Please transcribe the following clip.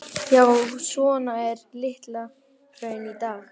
Já, svona er Litla-Hraun í dag.